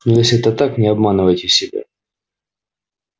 но если это так не обманывайте себя